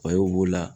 b'o la